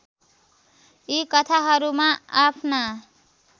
यी कथाहरूमा आफ्ना